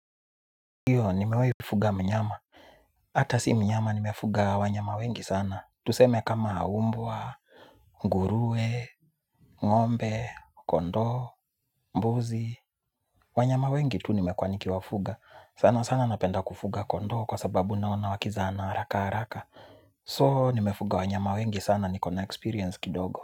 Iyo, nimewaifuga mnyama. Hata si mnyama nimefuga wanyama wengi sana. Tuseme kama mbwa, nguruwe, ng'ombe, kondo, mbuzi. Wanyama wengi tu nimekuwaniki wafuga. Sana sana napenda kufuga kondo kwa sababu naona wakizana haraka haraka. So, nimefuga wanyama wengi sana nikona experience kidogo.